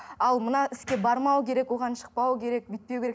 ал мына іске бармау керек оған шықпау керек бүйтпеу керек